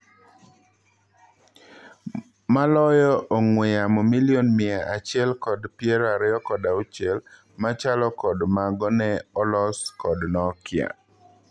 Maloyo ong'wee yamo milion mia achiel kod piero ariyo kod auchiel machalo kod mago ne olos kod Nokia.